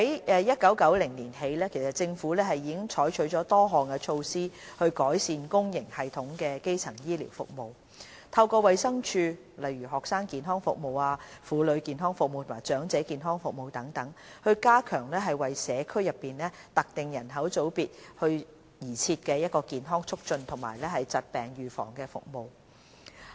自1990年起，政府已採取了多項措施以改善公營系統的基層醫療服務，透過衞生署，推行例如學生健康服務、婦女健康服務和長者健康服務，加強為社區內特定人口組別而設的健康促進及疾病預防服務。